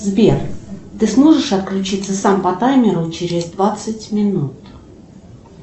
сбер ты сможешь отключиться сам по таймеру через двадцать минут